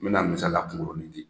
N bɛna misaliya kunkurunin di